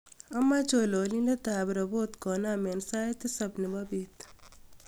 amoje chololindet ab robot konam en sait tisab nebo beet